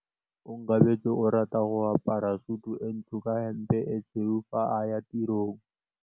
Onkabetse o rata go apara sutu e ntsho ka hempe e tshweu fa a ya tirong.